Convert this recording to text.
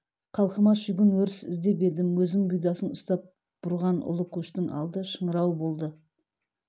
халқыма шүйгін өріс іздеп едім өзім бұйдасын ұстап бұрған ұлы көштің алды шыңырау болды